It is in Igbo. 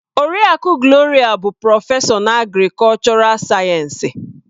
Oriakụ Gloria bụ prọfesọ na agrikọlchọral sayensị.